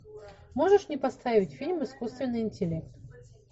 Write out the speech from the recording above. можешь мне поставить фильм искусственный интеллект